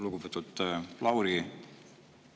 Lugupeetud Lauri!